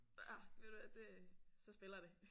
Ah ved du hvad det så spiller det